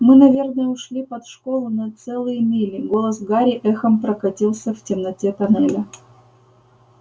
мы наверное ушли под школу на целые мили голос гарри эхом прокатился в темноте тоннеля